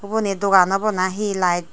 uboni dogan obo nahi light.